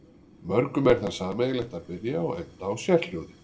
Mörgum er það sameiginlegt að byrja og enda á sérhljóði.